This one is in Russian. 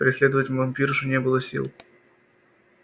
преследовать вампиршу не было сил